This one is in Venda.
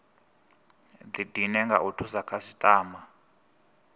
didine nga u thusa khasitama